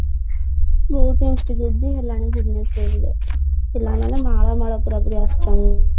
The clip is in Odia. ବହୁତ institute ବି ହେଲାଣି ଭୁବନେଶ୍ଵରରେ ପିଲାମାନେ ମାଳ ମାଳ ପୁରା ପୁରି ଆସୁଛନ୍ତି